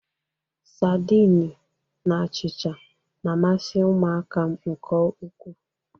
Sadịni na achịcha na̧-amasị ụmụaka m nke ukwu.